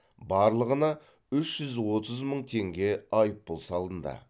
барлығына үш жүз отыз мың теңге айыппұл салынды